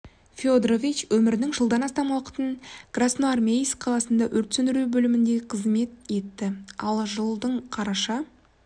федорович өмірінің жылдан астам уақытын красноармейск қаласында өрт сөндіру бөлімінде қызмет етті ал жылдың қараша